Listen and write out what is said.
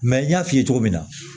n y'a f'i ye cogo min na